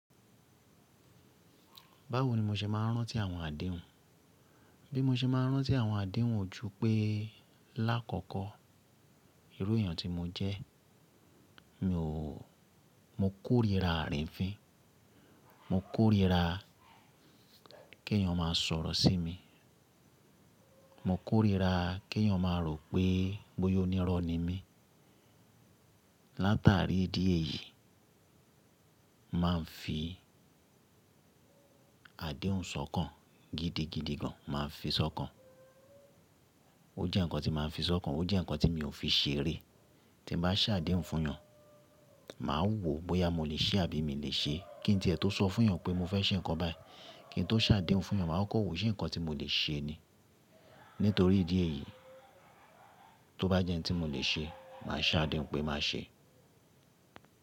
Báwo ni mo se máa ń rántí àwọn àdéhùn? Bí mo se máa ń rántí àwọn àdéhùn ojú pé lákọ̀kọ́, irú èèyàn tí mo jẹ́, mo kórira àrínfín, mo kórira kèèyàn máa sọ̀rọ̀ sí mi, mo kórira kèèyàn máa rò pé bóyá onírọ́ ni mí. Látàrí ìdí èyí, màá ń fi àdéhùn ṣọ́kàn gidigidi gan, màá fi ṣọ́kàn. Ó jẹ́ ǹkan tí màá ń fi ṣọ́kàn, ó jẹ́ ǹkan tí mi ò fi ṣeré. Tí n bàá ṣàdéhùn fún yàn, màá wo bóyá mo leè ṣe àbí mi i lè ṣe. Kí n tí ẹ tó sọ fún èèyàn pé mo fẹ́ ṣe ǹkan báyìí, kí n tó ṣàdéhùn fún èèyàn, màá kọ́ko wo ṣé ǹkan tí mo le ṣe ni. Nítorí ìdí èyí, tó bá jẹ́ ǹ tí mo lè ṣe, màá ṣàdéhùn pé màá ṣe.